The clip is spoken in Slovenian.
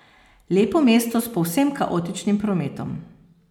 Lepo mesto s povsem kaotičnim prometom.